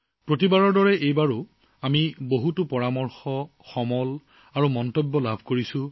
প্ৰতিবাৰৰ দৰে এইবাৰো আমি আপোনালোকৰ পৰা বহু পৰামৰ্শ ইনপুট আৰু মন্তব্য পাইছো